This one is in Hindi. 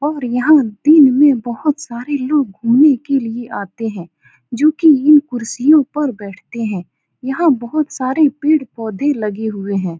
और यहाँ दिन में बहुत सारे लोग घुमने के लिए आते हैं जो की ये कुर्सियों पर बैठते हैं यहाँ बहुत सारे पेड़-पौधे लगे हुए हैं।